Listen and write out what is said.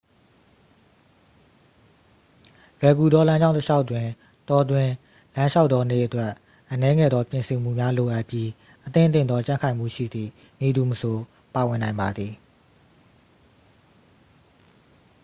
လွယ်ကူသောလမ်းကြောင်းတစ်လျှောက်တွင် တောတွင်းလမ်းလျှောက်သောနေ့အတွက် အနည်းငယ်သောပြင်ဆင်မှုများလိုအပ်ပြီး အသင့်အတင့်သောကြံ့ခိုင်မှုရှိသည့် မည်သူမဆို ပါဝင်နိုင်ပါသည်